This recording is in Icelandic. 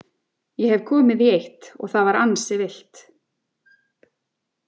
Ég hef komið í eitt og það var ansi villt.